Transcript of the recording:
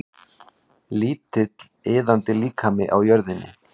Lítill iðandi líkami á jörðinni.